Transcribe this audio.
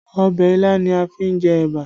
Ọbẹ̀ ilá ni a fi jẹ ẹ̀bà